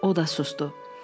O da susdu.